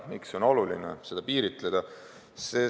Miks on oluline seda piiritleda?